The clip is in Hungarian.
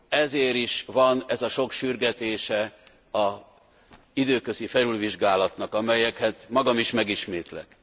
Ezért is van ez a sok sürgetése az időközi felülvizsgálatnak, amelyeket magam is megismétlek.